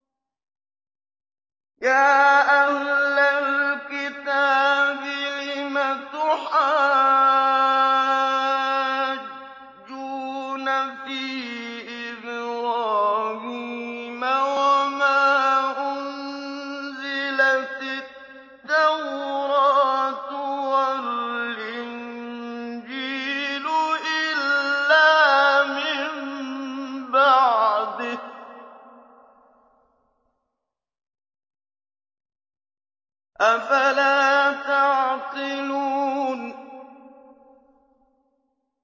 يَا أَهْلَ الْكِتَابِ لِمَ تُحَاجُّونَ فِي إِبْرَاهِيمَ وَمَا أُنزِلَتِ التَّوْرَاةُ وَالْإِنجِيلُ إِلَّا مِن بَعْدِهِ ۚ أَفَلَا تَعْقِلُونَ